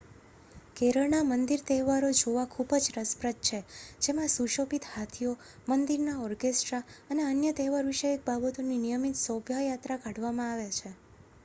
કેરળના મંદિરના તહેવારો જોવા ખૂબ જ રસપ્રદ છે જેમાં સુશોભિત હાથીઓ મંદિરના ઓરકેસ્ટ્રા અને અન્ય તહેવારવિષયક બાબતોની નિયમિત શોભાયાત્રા કાઢવામાં આવે છે